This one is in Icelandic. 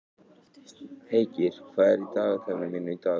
Heikir, hvað er í dagatalinu mínu í dag?